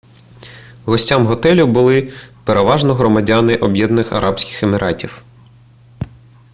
гостями готелю були переважно громадяни об'єднаних арабських еміратів